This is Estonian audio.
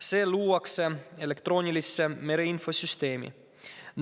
See luuakse elektroonilisse mereinfosüsteemi.